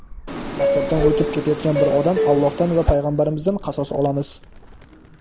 maktabdan o‘tib ketayotgan bir odam Allohdan va Payg‘ambarimizdan qasos olamiz.